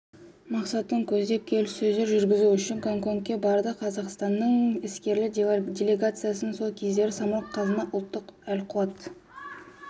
мақсатын көздеп келіссөздер жүргізу үшін гонконгке барды қазақстанның іскерлер делегациясын сол кездері самұрық-қазына ұлттық әл-қуат